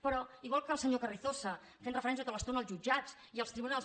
però igual que el senyor carrizosa fent referència tota l’estona als jutjats i als tribunals